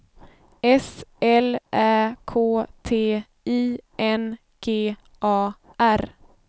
S L Ä K T I N G A R